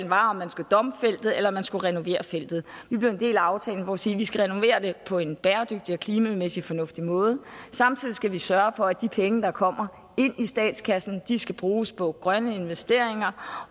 var om man skulle dumpe feltet eller om man skulle renovere feltet vi blev en del af aftalen om at sige at vi skal renovere det på en bæredygtig og klimamæssigt fornuftig måde samtidig skal vi sørge for at de penge der kommer ind i statskassen skal bruges på grønne investeringer